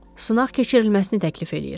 Sınaq keçirilməsini təklif eləyir.